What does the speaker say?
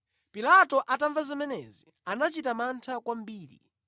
Pilato atamva zimenezi, anachita mantha kwambiri,